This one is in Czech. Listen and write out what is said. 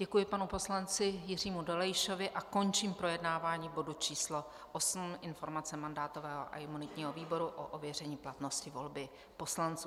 Děkuji panu poslanci Jiřímu Dolejšovi a končím projednávání bodu číslo 8 - Informace mandátového a imunitního výboru o ověření platnosti volby poslanců.